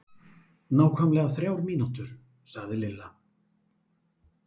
Nákvæmlega þrjár mínútur sagði Lilla.